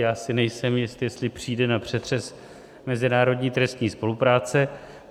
Já si nejsem jist, jestli přijde na přetřes mezinárodní trestní spolupráce.